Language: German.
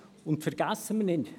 Und vergessen wir nicht: